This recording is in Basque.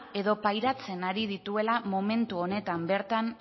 edo pairatzen ari dituela momentu honetan bertan